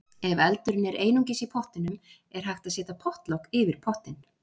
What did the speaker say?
Ef eldurinn er einungis í pottinum er hægt að setja pottlok yfir pottinn.